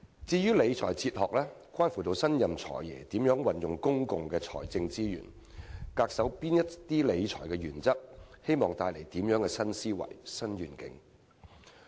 至於理財哲學則關乎新任"財爺"如何運用公共財政資源，恪守哪些理財原則，並希望帶來怎樣的新思維和新願景。